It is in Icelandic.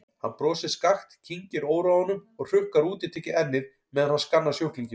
Hann brosir skakkt, kyngir óróanum og hrukkar útitekið ennið meðan hann skannar sjúklinginn.